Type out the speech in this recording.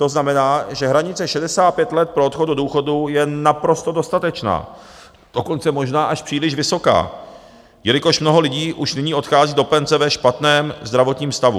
To znamená, že hranice 65 let pro odchod do důchodu je naprosto dostatečná, dokonce možná až příliš vysoká, jelikož mnoho lidí už nyní odchází do penze ve špatném zdravotním stavu.